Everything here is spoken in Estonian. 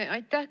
Aitäh!